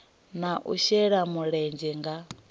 na u shela mulenzhe nga